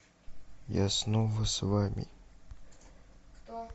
я снова с вами